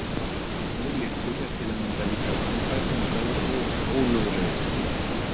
Óléttur er til að mynda líka vanfær, þungaður og ólögulegur.